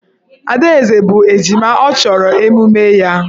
Adaeze bụ ejima, ọ chọrọ emume ya.